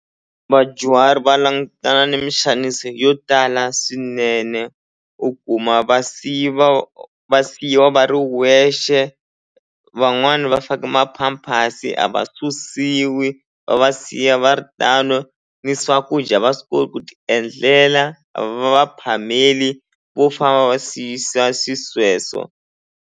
Vadyuhari va langutana ni muxanisi yo tala swinene u kuma va va siyiwa va ri wexe van'wani va fake ma-pampers a va susiwi va va siya va ri tano ni swakudya a va swi ku ti endlela a va va phameli vo famba va siyisa xisweswo.